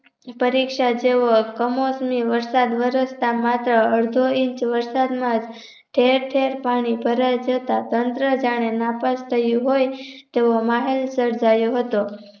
પરીક્ષા જેવો કમોસમી વરસાદ વરસતા માત્ર અડધો ઇંચ વરસાદ માં ઠેર ઠેર પાણી ભરાય જતા તંત્ર જાણે નાપાસ થયું હોય તેવો માહોલ સર્જાયો હતો